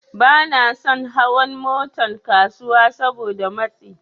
Banason hawan Motan kasuwa Saboda matsi